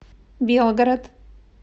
белгород